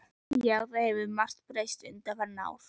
Já, það hefur margt breyst undanfarin ár.